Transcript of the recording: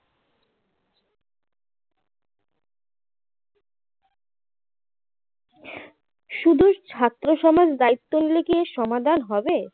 শুধু ছাত্র সমাজ দায়িত্ব নিলে কী এর সমাধান হবে